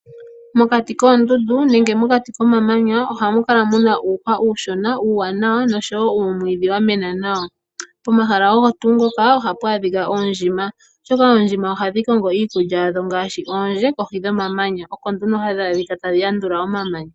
Mokati koondundu nenge mokati komamanya, ohamu kala mu na uuhwa uushona, uuwanawa noshowoo uumwiidhi wa mena nawa. Pomahala ogo tuu ngoka ohapu adhika oondjima, molwaashoka ohadhi kongo iikulya hadho ngaashi oondje kohi dhomamanya , oko nduno hadhi adhika tadhi yandula kohi yomamanya.